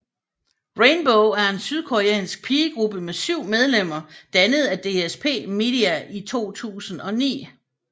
Rainbow er en sydkoreansk pigegruppe med 7 medlemmer dannet af DSP Media i 2009